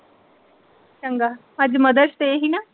ਚੰਗਾ ਅੱਜ Mother's Day ਸੀ ਨਾ।